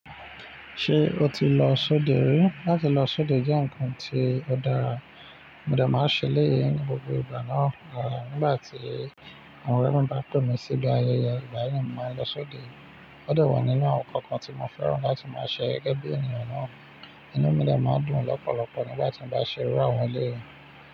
Ṣé o ti lọ sóde rí? Láti lọ sóde jẹ́ ǹkan ti ó dára, mo dẹ máa ń ṣe eleyii ni gbogbo ìgbà náà. À nígbà tí àwọn ọ̀rẹ́ mi bá pè mí síbi ayẹyẹ igbayii naa mo máa ń lọ sóde. Ó dẹ wọ̀ nínú àwọn ǹkan kan tí mo fẹ́ràn láti máa ṣe gẹ́gẹ́ bí ènìyàn náà. Inú mi dẹ máa dùn lọ́pọ̀lọ́pọ̀ nígbà tí mo bá ṣe irú àwọn eleyi.